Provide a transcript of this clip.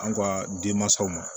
An ka denmansaw ma